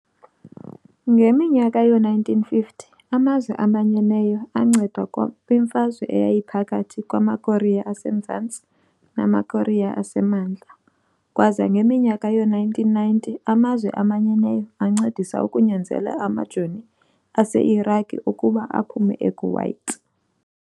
ngeminyaka yoo-1950 amazwe amanyeneyo aanceda kwmfazwe eyayiphakathi kwamaKorea aseMzantsi namaKorea asemantla, kwaza ngeminyaka yoo-1990 amazwe amanyeneyo ancedisa ukunyanzela amajoni ase-Iraqi ukuba aphume e-Kuwait.